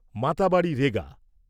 Matabari রেগা